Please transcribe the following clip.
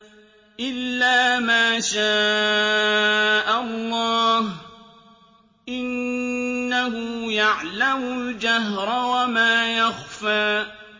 إِلَّا مَا شَاءَ اللَّهُ ۚ إِنَّهُ يَعْلَمُ الْجَهْرَ وَمَا يَخْفَىٰ